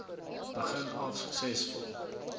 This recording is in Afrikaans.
begin af suksesvol